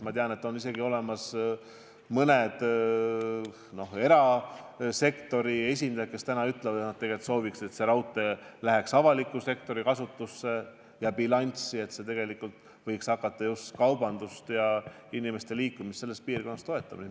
Ma tean, et on isegi mõned erasektori esindajad, kes ütlevad, et nad tegelikult sooviksid, et see raudtee läheks avaliku sektori kasutusse ja bilanssi, et see võiks hakata kaubandust ja inimeste liikumist selles piirkonnas toetama.